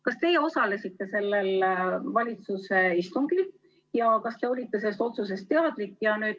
Kas teie osalesite sellel valitsuse istungil ja kas te olite sellest otsusest teadlik?